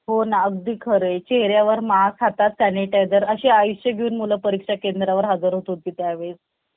माझे वडील शेतकरी आहेत. मी लहानापासून खूप खोडकर आणि खेळकर होतो. त्यामुळे मला कधीकधी टोमणेही यायचे आणि मला तितकीच